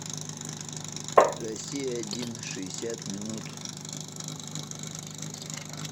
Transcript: россия один шестьдесят минут